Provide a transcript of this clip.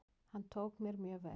Hann tók mér mjög vel.